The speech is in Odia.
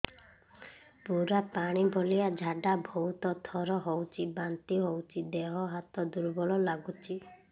ପୁରା ପାଣି ଭଳିଆ ଝାଡା ବହୁତ ଥର ହଉଛି ବାନ୍ତି ହଉଚି ଦେହ ହାତ ଦୁର୍ବଳ ଲାଗୁଚି